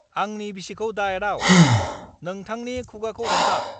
आंनि बिसिखौ दाएदाव। नोंथांनि खुगाखौ हमथा!